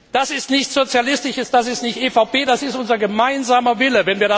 Das ist nichts Sozialistisches, das ist nicht EVP, das ist unser gemeinsamer Wille.